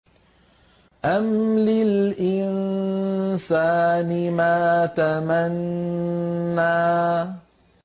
أَمْ لِلْإِنسَانِ مَا تَمَنَّىٰ